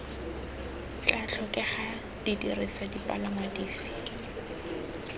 tla tlhokega didirisiwa dipalangwa dife